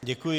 Děkuji.